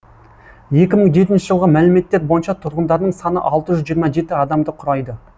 екі мың жетінші жылғы мәліметтер бойынша тұрғындарының саны алты жүз жиырма жеті адамды құрайды